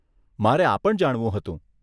મારે આ પણ જાણવું હતું.